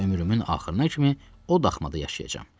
Və ömrümün axırına kimi o daxmada yaşayacam.